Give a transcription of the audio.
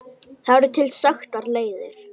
Það eru til þekktar leiðir.